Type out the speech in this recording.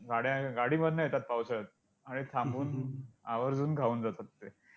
गाड्या~गाडीमधनं येतात पावसाळ्यात आणि थांबून आवर्जून खाऊन जातात ते!